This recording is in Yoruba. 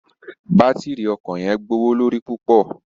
Batírí ọkọ yẹn gbowolori pupọ